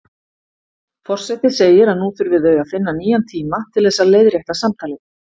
Forseti segir að nú þurfi þau að finna nýjan tíma til þess að leiðrétta samtalið.